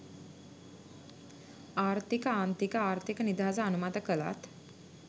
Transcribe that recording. ආර්ථික ආන්තික ආර්ථික නිදහස අනුමත කළත්